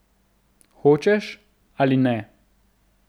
Hočeš ali ne ...